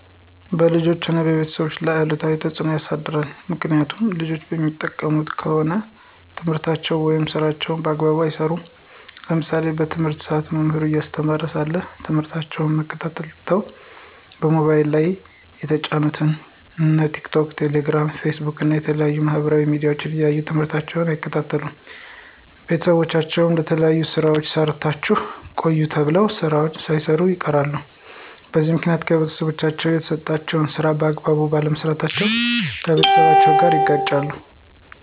በልጆች ሆነ በቤተሰብ ላይ አሉታዊ ተፅዕኖ ያሳድራል። ምክኒያቱም ልጆች የሚጠቀሙ ከሆነ ትምህርታቸውን ወይም ስራቸውን በአግባቡ አይሰሩም። ለምሳሌ በትምህርት ሰአት መምህሩ እያስተማረ ሳለ ትምህርታቸውን መከታተል ትተው በሞባይል ላይ የተጫኑትን እንደ ቲክቶክ፣ ቴሌግራም፣ ፌስቡክ እና የተለያዩ የማህበራዊ ሚዲያዎች እያዩ ትምህርታቸውን አይከታተሉም። ቤተሰቦቻቸው የተለያዩ ስራዎችን ሰርታችሁ ቆዩ ተብለው ስራዎችን ሳይሰሩ ይቀራሉ። በዚህ ምክኒያት ከቤተሰቦቻቸው የተሰጣቸውን ስራ በአግባቡ ባለመስራታቸው ከቤተሰቦቻቸው ጋር ይጋጫሉ።